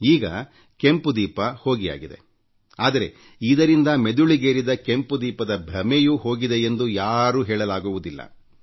ಈಗ ಕೆಂಪು ದೀಪ ಹೋಗಿಯಾಗಿದೆ ಆದರೆಇದರಿಂದ ತಲೆಗೇರಿದ ಕೆಂಪು ದೀಪದ ಭ್ರಮೆಯೂ ಹೋಗಿದೆಯೆಂದು ಯಾರೂ ಹೇಳಲಾಗುವುದಿಲ್ಲ